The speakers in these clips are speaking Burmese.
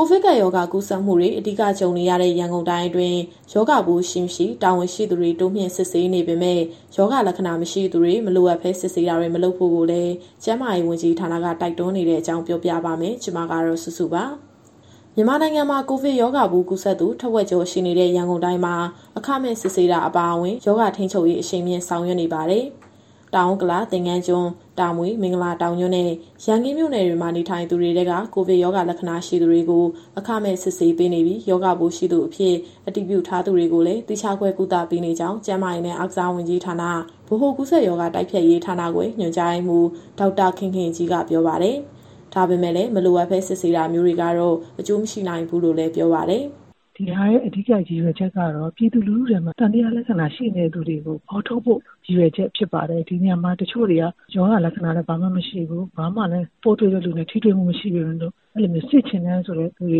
ိုဗစ်ကပ်ရောဂါ ကူးစက်မှုတွေ အဓိကကြုံနေရတဲ့ ရန်ကုန်တိုင်းအတွင်း ရောဂါပိုး ရှိ၊ မရှိ တာဝန်ရှိသူတွေ တိုးမြှင့်စစ်ဆေးနေပေမဲ့ ရောဂါလက္ခဏာမရှိသူတွေ မလိုအပ်ဘဲ စစ်ဆေးတာတွေ မလုပ်ဖို့လည်း ကျန်းမာရေးဝန်ကြီးဌာနက တိုက်တွန်းနေတဲ့အကြောင်း ပြောပြပါမယ်။ ဒီသတင်းကို ဗွီအိုအေမြန်မာပိုင်း သတင်းထောက်စုစုက တင်ဆက်ပေးမှာပါ။ မြန်မာနိုင်ငံမှာ ကိုဗစ်ရောဂါပိုး ကူးစက်သူထက်ဝက်ကျော် ရှိနေတဲ့ ရန်ကုန်တိုင်းမှာ အခမဲ့ စစ်ဆေးတာ အပါအဝင် ရောဂါထိန်းချုပ်ရေး အရှိန်မြှင့် ဆောင်ရွက်နေပါတယ်။ တောင်ဥက္ကလာ၊ သင်္ဃန်းကျွန်း၊ တာမွေ၊ မင်္ဂလာတောင်ညွှန့်နဲ့ ရန်ကင်းမြို့နယ်တွေမှာ နေထိုင်သူတွေထဲက ကိုဗစ်ရောဂါလက္ခဏာ ရှိသူတွေကို အခမဲ့စစ်ဆေးပေးနေပြီး ရောဂါပိုးရှိသူအဖြစ် အတည်ပြုထားသူတွေကိုလည်း သီးခြားခွဲ ကုသပေးနေကြောင်း ကျန်းမာရေးနဲ့ အားကစားဝန်ကြီးဌာန၊ ဗဟိုကူးစက်ရောဂါ တိုက်ဖျက်ရေးဌာနခွဲ ညွှန်ကြားရေးမှူး ဒေါက်တာခင်ခင်ကြီးက ပြောပါတယ်။ ဒါပေမဲ့လည်း မလိုအပ်ဘဲ စစ်ဆေးတာမျိုးတွေကတော့ အကျိုးမရှိနိုင်ဘူးလို့လည်း ပြောပါတယ်။ “အဓိက ရည်ရွယ်ချက်ကတော့ ပြည်သူလူထုထဲမှာ သံသယလက္ခဏာရှိနေတဲ့ သူတွေကိုဖော်ထုတ်ဖို့ ရည်ရွယ်ချက်ဖြစ်ပါတယ်။ ဒီနေရာမှာ တချို့တွေက ရောဂါလက္ခဏာလည်း ဘာမှမရှိဘူး၊ ဘာမှလည်း ပိုးတွေ့တဲ့လူနဲ့ ထိတွေ့မှုမရှိပေမဲ့လို့ အဲလိုမျိုးစစ်ချင်တဲ့ သူတွေ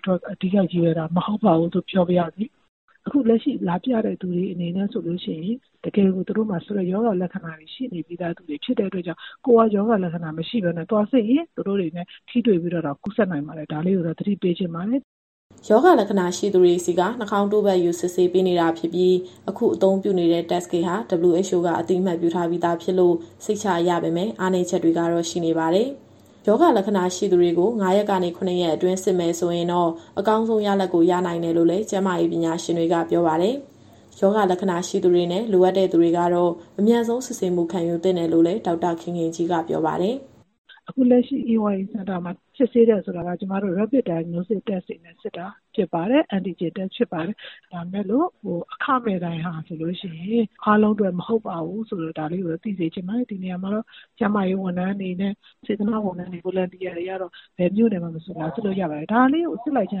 အတွက် အဓိကရည်ရွယ်တာ မဟုတ်ပါဘူးလို့ ပြောပါရစေ။ အခုလက်ရှိလာပြတဲ့ သူတွေအနေနဲ့ဆိုရင် တကယ်ကို သူတို့မှာ ရောဂါလက္ခဏာရှိနေပြီးသား သူတွေဖြစ်တဲ့အတွက်ကြောင့် ကိုယ်ကရောဂါလက္ခဏာ မရှိဘဲနဲ့ သွားစစ်ရင် သူတို့တွေနဲ့ ထိတွေ့ပြီးတော့တောင် ကူးစက်နိုင်ပါတယ်။ ဒါလေးကိုတော့ သတိပေးချင်ပါတယ်။” ရောဂါလက္ခဏာရှိသူတွေဆီက နှာခေါင်းတို့ပတ်ယူ စစ်ပေးနေတာဖြစ်ပြီး အခုအသုံးပြုနေတဲ့ Test Kit ဟာ WHO က အသိအမှတ်ပြုထားပြီးသားဖြစ်လို့ စိတ်ချရပေမဲ့ အားနည်းချက်တွေတော့ ရှိနေပါတယ်။ ရောဂါလက္ခဏာရှိသူတွေကို ၅ ရက်ကနေ ၇ ရက်အတွင်း စစ်မယ်ဆိုရင်တော့ အကောင်းဆုံးရလဒ်ကို ရနိုင်တယ်လို့လည်း ကျန်းမာရေးပညာရှင်တွေက ပြောပါတယ်။ ရောဂါလက္ခဏာ ရှိသူတွေနဲ့ လိုအပ်တဲ့ သူတွေကတော့ အမြန်ဆုံးစစ်ဆေးမှု ခံယူသင့်တယ်လို့လည်း ဒေါက်တာခင်ခင်ကြီးကပြောပါတယ်။ “အခုလက်ရှိ AYA Center မှာစစ်ဆေးတယ်ဆိုတာက ကျမတို့ Rapid Diagnostic Test တွေနဲ့စစ်တာ ဖြစ်ပါတယ်။ Antigen Test ဖြစ်ပါတယ်။ ဒါပေမဲ့လို့ အခမဲ့တိုင်းဟာဆိုလို့ရှိရင် အားလုံးအတွက်မဟုတ်ပါဘူးဆိုတာ ဒါလေးကိုတော့ သိစေချင်ပါတယ်။ ဒီနေရာမှာတော့ ကျန်းမာရေးဝန်ထမ်းတွေနဲ့ စေတနာ့ဝန်ထမ်းတွေကတော့ ဘယ်မြို့နယ်ကမဆို လာစစ်လို့ရပါတယ်။ ဒါလေးကို စစ်လိုက်ခြင်း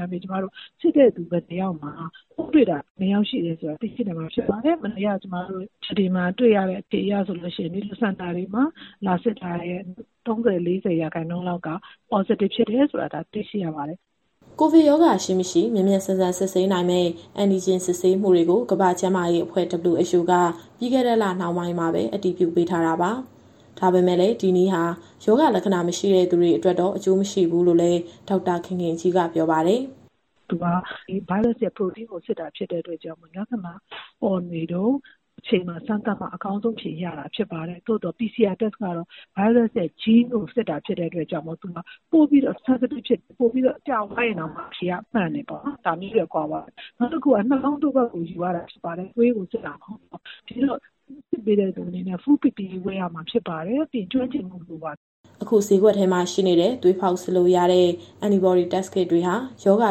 အားဖြင့် ကျမတို့စစ်တဲ့သူ ဘယ်နှစ်ယောက်မှာ ပိုးတွေ့တာ ဘယ်နှစ်ယောက် ရှိတယ်ဆိုတာ သိရှိနိုင်မှာ ဖြစ်ပါတယ်။ မနေ့ကဆိုရင် ဒီစင်တာတွေမှာ လာစစ်တာရဲ့ ၃၀ - ၄၀ ရာခိုင်နှုန်းလောက်က Positive ဖြစ်တယ်ဆိုတာ တွေ့ရှိရပါတယ်။” ကိုဗစ်ရောဂါရှိ၊ မရှိ မြန်မြန်ဆန်ဆန် စစ်ဆေးနိုင်မဲ့ Antigen စမ်းသပ်မှုတွေကိုတော့ ကမ္ဘာ့ကျန်းမာရေးအဖွဲ့ WHO က ပြီးခဲ့တဲ့လ နှောင်းပိုင်းမှာပဲ အတည်ပြုပေးထားတာပါ။ ဒါပေမဲ့လည်း ဒီနည်းဟာ ရောဂါလက္ခဏာ မရှိတဲ့သူတွေအတွက်တော့ အကျိုးမရှိဘူးလို့လည်း ဒေါက်တာခင်ခင်ကြီးက ပြောပါတယ်။ “Test Kit က Virus ရဲ့ Protein ကို စစ်တာဖြစ်လို့ လက္ခဏာပေါ်နေတုန်းအချိန်မှာ စမ်းသပ်မှ အကောင်းဆုံးအဖြေရတာ ဖြစ်ပါတယ်။ သို့သော် PCR Test ကတော့ Virus ရဲ့ Gene ကိုစစ်တာဖြစ်လို့ သူဟာပိုပြီးတော့ Sensitive ဖြစ်တယ်၊ ပိုပြီးတော့ ကြာသွားရင်တောင်မှ အဖြေက မှန်တယ်ပေါ့နော်။ ဒါမျိုးတွေက ကွာသွားတယ်။ နောက်တခုက နှာခေါင်းတို့ပတ်ကို ယူရတာဖြစ်ပါတယ်။ သွေးကိုစစ်တာ မဟုတ်ပါဘူး။ ဒီတော့ စစ်ပေးတဲ့သူအနေနဲ့ Full PPE ဝတ်ရမှာဖြစ်ပါတယ်။ ပြီးရင်ကျွမ်းကျင်မှု လိုပါတယ်။” အခုဈေးကွက်ထဲမှာရှိနေတဲ့ သွေးဖောက်စစ်လို့ရတဲ့ Antibody Test Kit တွေဟာ ရောဂါ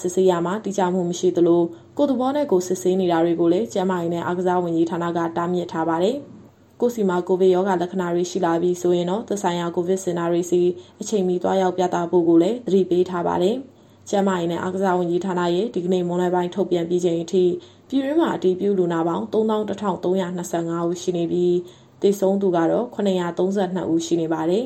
စစ်ဆေးရာမှာ တိကျမှုမရှိသလို၊ ကိုယ့်သဘောနဲ့ကိုယ် စစ်ဆေးနေတာတွေကိုလည်း ကျန်းမာရေးနဲ့ အားကစားဝန်ကြီးဌာနက တားမြစ်ထားပါတယ်။ ကိုယ့်ဆီမှာ ကိုဗစ်ရောဂါလက္ခဏာတွေ ရှိလာပြီဆိုရင်တော့ သက်ဆိုင်ရာ ကိုဗစ်စင်တာတွေဆီ အချိန်မီသွားရောက်ပြသဖို့ကိုလည်း သတိပေးထားပါတယ်။ ကျန်းမာရေးနဲ့ အားကစားဝန်ကြီးဌာနရဲ့ ဒီကနေ့မွန်းလွဲပိုင်း ထုတ်ပြန်ပြီးချိန်အထိ ပြည်တွင်းမှာအတည်ပြုလူနာပေါင်း ၃၁,၃၂၅ ဦးရှိနေပြီး သေဆုံးသူကတော့ ၇၃၂ ဦးရှိပါတယ်